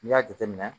N'i y'a jateminɛ